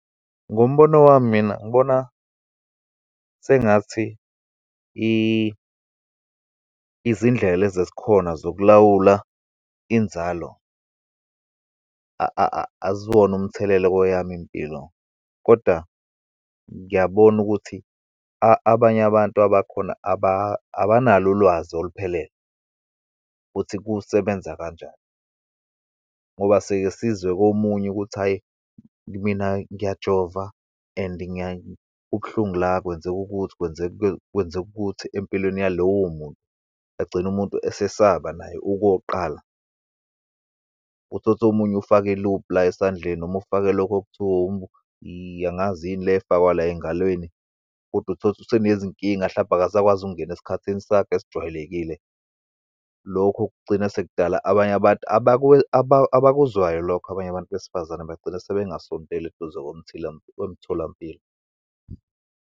Ngombono wami mina, ngibona sengathi izindlela lezi ezikhona zokulawula inzalo, aziwona umthelelo kweyami impilo, kodwa ngiyabona ukuthi abanye abantu abakhona abanalo ulwazi oluphelele ukuthi kusebenza kanjani. Ngoba sikesizwe komunye ukuthi hhayi, mina ngiyajova and kubuhlungu la, kwenzeka ukuthi, kwenzeka, kwenzeke ukuthi empilweni yalowo muntu, egcine umuntu esesaba naye ukuyoqala. Uthole ukuthi omunye ufake i-loop la esandleni, noma ufake lokhu okuthiwa angazi yini le efakwa la engalweni, kodwa utholukuthi useneyinkinga, hlampe akasakwazi ukungena esikhathini sakhe asijwayelekile. Lokho kugcina sekudala abanye abantu abakuzwayo lokho, abanye abantu besifazane bagcine sebengasondeli eduze komtholampilo.